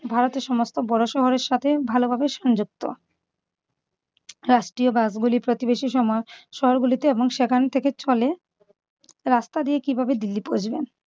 ভারতের সমস্ত বড় শহরের সাথে ভালোভাবে সংযুক্ত। রাষ্ট্রীয় bus গুলি প্রতিবেশী সমা~ শহরগুলিতে এবং সেখান থেকে চলে। রাস্তা দিয়ে কিভাবে দিল্লি পৌঁছবেন?